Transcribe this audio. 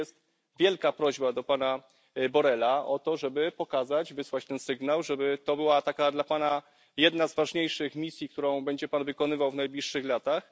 I tu jest wielka prośba do pana Borrella o to, żeby pokazać, wysłać ten sygnał, żeby to była taka dla Pana jedna z ważniejszych misji, którą będzie Pan wykonywał w najbliższych latach.